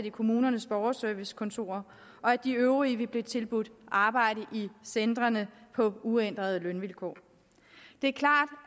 i kommunernes borgerservicekontorer og at de øvrige vil blive tilbudt arbejde i centrene på uændrede lønvilkår det er klart